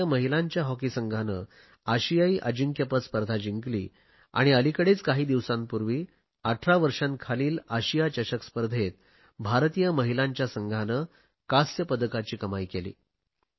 भारतीय महिलांच्या हॉकी संघाने आशियाई अजिंक्यपद स्पर्धा जिंकली आणि अलिकडेच काही दिवसांपूर्वी 18 वर्षांखालील आशिया चषक स्पर्धेत भारतीय महिलांच्या संघांने कांस्य पदकाची कमाई केली